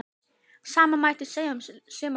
Sama mætti segja um suma leiðtoga